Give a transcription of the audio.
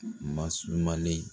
masumalen